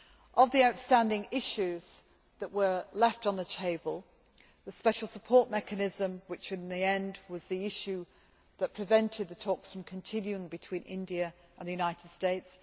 Of the outstanding issues that were left on the table, there is the special support mechanism, which, in the end, was the issue that prevented the talks from continuing between India and the United States.